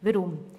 Weshalb dies?